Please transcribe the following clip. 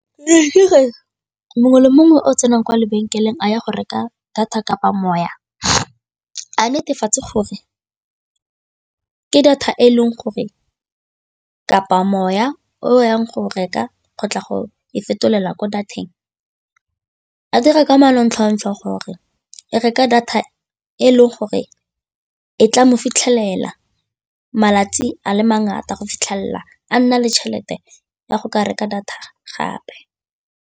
Mongwe le mongwe o tsenang kwa lebenkeleng a ya go reka data kapa moya a netefatse gore ke data e e leng gore kapa moya o yang go reka kgotla go fetolela ko diatleng a dira ka manontlhotlho gore e reka data e le gore e tla mo fitlhelela malatsi a le mangata go fitlhelela a nna le tšhelete ya go ka reka data gape.